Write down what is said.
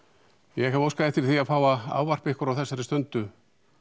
ég hef óskað eftir því að fá að ávarpa ykkur á þessari stundu